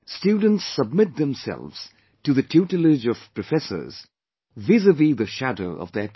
Students submit themselves to the tutelage of Professors vis a vis the shadow of their parents